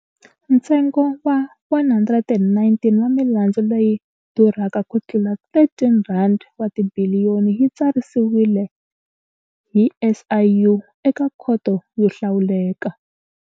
Ntsengo wa 119 wa milandzu leyi durhaka kutlula R13 wa tibiliyoni yi tsarisiwile hi SIU eka Khoto yo Hlawuleka.